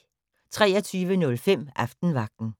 23:05: Aftenvagten